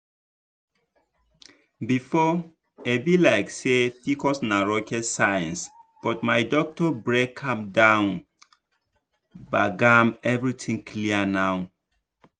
before e be like say pcos na rocket science but my doctor break am down gbagam everything clear now.